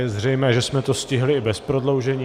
Je zřejmé, že jsme to stihli i bez prodloužení.